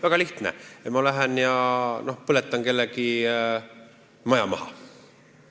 Väga lihtne: ma lähen ja põletan kellegi maja maha.